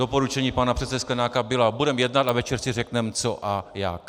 Doporučení pana předsedy Sklenáka byla: Budeme jednat a večer si řekneme, co a jak.